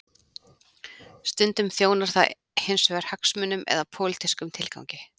Stundum þjónar það hins vegar hagsmunum eða pólitískum tilgangi.